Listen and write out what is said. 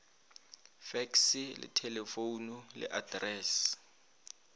fekse le thelefomo le atrese